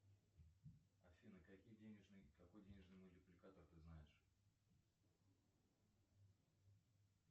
афина какие денежные какой денежный мультипликатор ты знаешь